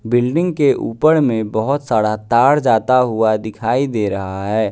Building के ऊपर में बहोत सारा तार जाता हुआ दिखाई दे रहा है।